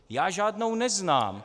Já žádnou neznám.